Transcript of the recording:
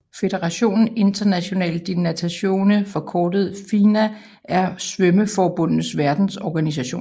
Fédération Internationale de Natation forkortet FINA er svømmeforbundenes verdensorganisation